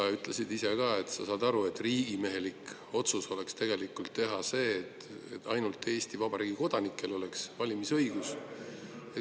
Sa ütlesid ise ka, et sa saad aru, et riigimehelik oleks tegelikult teha otsus nii, et ainult Eesti Vabariigi kodanikel oleks valimisõigus.